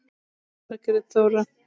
Þín, Margrét Þóra.